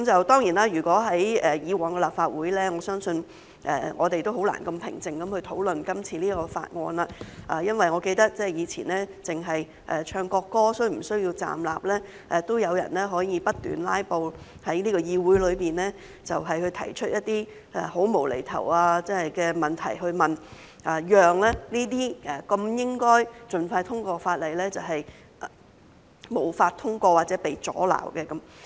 當然，如果是以往的立法會，我相信我們是難以如此平靜地討論今次這項條例草案，因為我記得以往只是討論唱國歌時是否需要站立，也會有人不斷"拉布"，又在議會內提出一些很"無厘頭"的問題，讓這些應該獲盡快通過的法例無法通過或被阻撓。